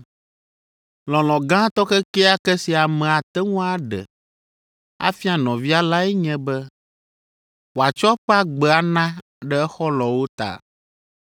Lɔlɔ̃ gãtɔ kekeake si ame ate ŋu aɖe afia nɔvia lae nye be wòatsɔ eƒe agbe ana ɖe exɔlɔ̃wo ta.